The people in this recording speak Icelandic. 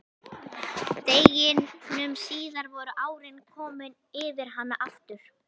Deginum síðar voru árin komin yfir hana aftur.